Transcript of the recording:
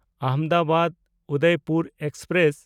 ᱟᱦᱚᱢᱫᱟᱵᱟᱫ–ᱩᱫᱚᱭᱯᱩᱨ express